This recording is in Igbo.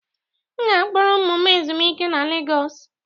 M ga-akpọrọ ụmụ m ezumike na Lagos